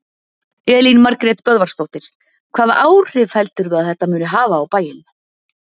Elín Margrét Böðvarsdóttir: Hvaða áhrif heldurðu að þetta muni hafa á bæinn?